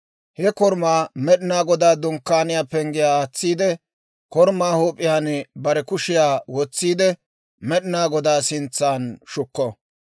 He korumaa Med'inaa Godaa Dunkkaaniyaa pengge aatsiide, korumaa huup'iyaan bare kushiyaa wotsiide, Med'inaa Godaa sintsan shukko.